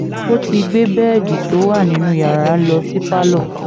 ó ti gbé bẹ́ẹ̀dì tó wà nínú yàrá lọ sí pálọ̀